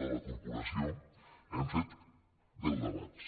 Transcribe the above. de la corporació hem fet deu debats